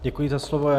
Děkuji za slovo.